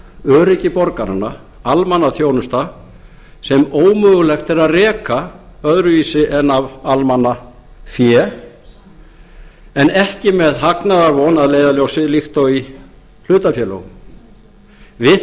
öryggi borgaranna almannaþjónusta sem ómögulegt er að reka öðruvísi en af almannafé en ekki með hagnaðarvon að leiðarljósi líkt og í hlutafélögunum við